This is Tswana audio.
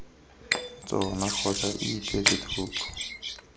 tsona kgotsa ii beetse thoko